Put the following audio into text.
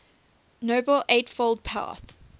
noble eightfold path